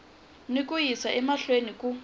na ku yisa emahlweni ku